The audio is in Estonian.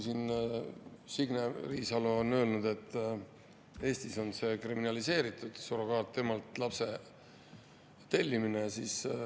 Signe Riisalo on siin öelnud, et Eestis on kriminaliseeritud surrogaatemalt lapse tellimine.